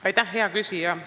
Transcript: Aitäh, hea küsija!